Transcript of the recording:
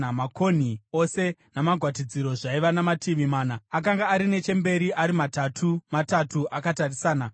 Makonhi ose namagwatidziro zvaiva namativi mana; akanga ari nechemberi ari matatu matatu, akatarisana.